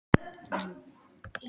Ekkert að segja Öbbu hinni það.